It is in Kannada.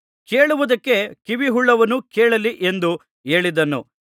ಕೇಳುವುದಕ್ಕೆ ಕಿವಿಯುಳ್ಳವನು ಕೇಳಲಿ ಎಂದು ಹೇಳಿದನು